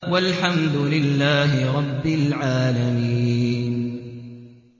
وَالْحَمْدُ لِلَّهِ رَبِّ الْعَالَمِينَ